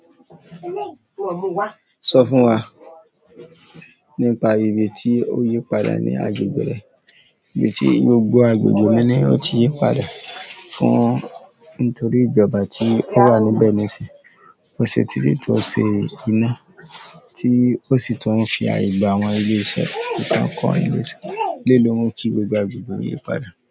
Sọ fún wa nípa ibi tí o yí padà ní agbègbè rẹ, ibi tí gbogbo agbègbè mi ni o ti yí padà fún nítorí ìjọba tí ó wà níbẹ̀ níìsínyii, ọ̀sẹ̀ titi, o dé ti ṣe iná tí ó sì tuń fi àye gbà àwọn ilé iṣẹ́, ti won kọọ ile iṣẹ́. Eléyii lo ń yìí gbogbo agbègbè yìí padà?